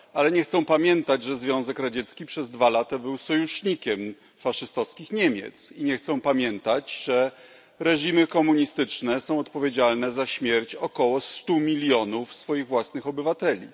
Ale nie chcą pamiętać, że Związek Radziecki przez dwa lata był sojusznikiem faszystowskich Niemiec, i nie chcą pamiętać, że reżimy komunistyczne są odpowiedzialne za śmierć około stu milionów ich własnych obywateli.